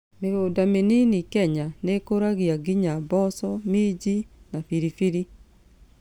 Mĩgũnda mĩnini Kenya nĩĩkũragia nginya mboco, minji, na biribiri